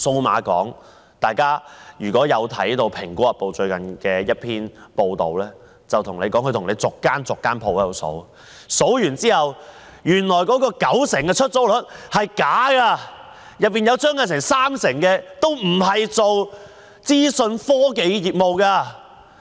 如果大家看過《蘋果日報》最近的一篇報道，便知道文中指出，經逐一點算數碼港的商鋪後，發覺聲稱的九成出租率是假的，當中有三成商鋪並非從事資訊科技業務。